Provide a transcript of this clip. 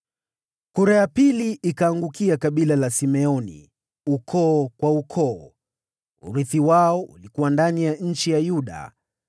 Kura ya pili ikaangukia kabila la Simeoni, ukoo kwa ukoo. Urithi wao ulikuwa ndani ya eneo la Yuda.